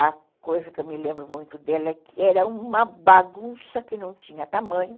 A coisa que eu me lembro muito dela é que era uma bagunça que não tinha tamanho.